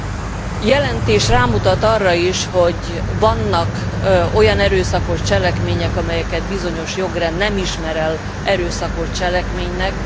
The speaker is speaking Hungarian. A jelentés rámutat arra is, hogy vannak olyan erőszakos cselekmények, amelyeket bizonyos jogrend nem ismer el erőszakos cselekménynek.